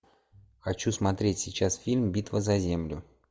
хочу смотреть сейчас фильм битва за землю